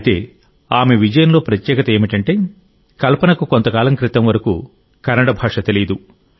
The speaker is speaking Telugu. అయితే ఆమె విజయంలో ప్రత్యేకత ఏమిటంటే కల్పనకు కొంతకాలం క్రితం వరకు కన్నడ భాష తెలియదు